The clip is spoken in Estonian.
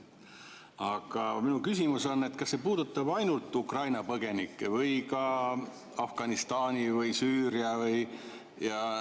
Aga minu küsimus on, kas see puudutab ainult Ukraina põgenikke või ka Afganistani või Süüria omi.